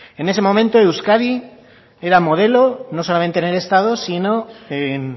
en ese momento euskadi era modelo no solamente en el estado sino en